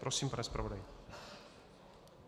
Prosím, pane zpravodaji.